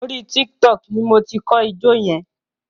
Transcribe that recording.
Orí Tiktok ni mo ti kọ́ ijó yẹn.